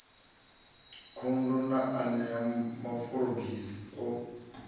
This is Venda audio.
khundu na enea maforogisi o